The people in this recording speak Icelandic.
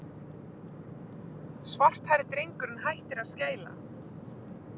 Svarthærði drengurinn hættir að skæla.